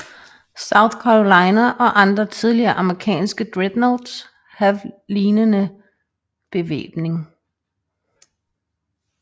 South Carolina og andre tidlige amerikanske dreadnoughts have lignende bevæbning